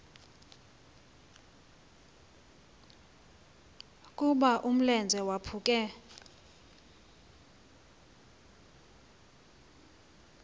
ukuba umlenze waphuke